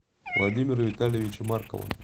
владимира витальевича маркова